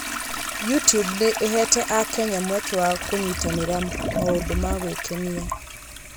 YouTube nĩ ĩheete Akenya mweke wa kũnyitanĩra maũndũ-inĩ ma gwĩkenia.